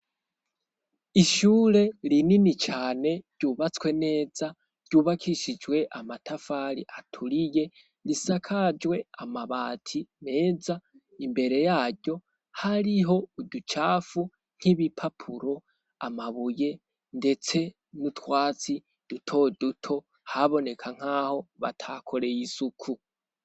Ishure rinini cane ryubatswe neza ryubakishijwe amatafari aturiye risakajwe amabati meza imbere yaryo hariho uducafu nk'ibipapuro amabuye ndetse n'utwatsi dutoduto haboneka nkaho batakoreye isuku.